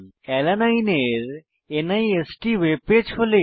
alanine এর NIST webpage খোলে